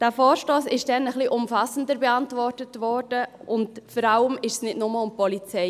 Dieser Vorstoss wurde damals ein bisschen umfassender beantwortet, und vor allem ging es damals nicht nur um die Polizei.